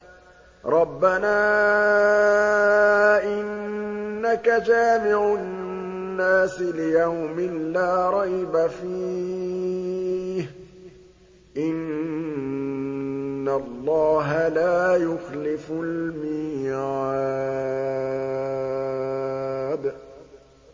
رَبَّنَا إِنَّكَ جَامِعُ النَّاسِ لِيَوْمٍ لَّا رَيْبَ فِيهِ ۚ إِنَّ اللَّهَ لَا يُخْلِفُ الْمِيعَادَ